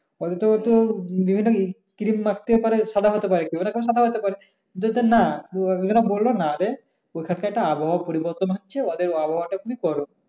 অন্তত বিভিন্ন ক্রিম মাখতে পারে সাদা হতে পারে কি ওরকম সাদা হতে পারে। কিন্তু যে না ওরা বললো না যে ওখানে একটা আবহাওয়া পরিবর্তন হচ্ছে ওদের আবহাওয়া টা খুবই গরম।